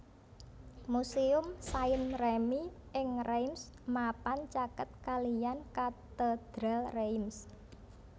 Muséum Saint Remi ing Reims mapan caket kaliyan Katedral Reims